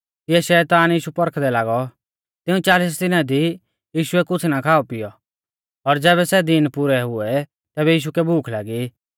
तिऐ शैतान यीशु पौरखदै लागौ तिऊं चालिस दिना दी यीशुऐ कुछ़ा ना खाऔ पिऔ ज़ैबै सै दीन पुरै हुऐ तैबै यीशु कै भूख लागी